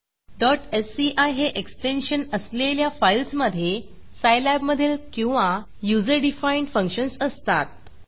sci हे extension असलेल्या फाईल्समधे सायलॅब मधील किंवा युजर डिफाईन्ड फंक्शन्स असतात